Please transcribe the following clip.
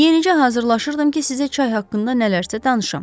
Yenicə hazırlayırdım ki, sizə çay haqqında nələrsə danışım.